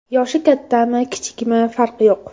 Yoshi kattami, kichikmi farqi yo‘q.